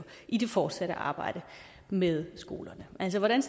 i det fortsatte arbejde med skolerne altså hvordan